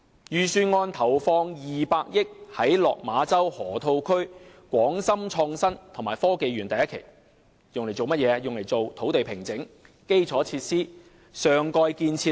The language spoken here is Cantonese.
預算案投放200億元在落馬洲河套區的港深創新及科技園第一期，用作土地平整、基礎設施和上蓋建設等。